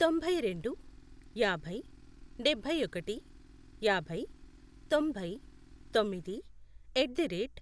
తొంభై రెండు, యాభై, డబ్బై ఒకటి, యాభై, తొంభై, తొమ్మిది, ఎట్ ది రేట్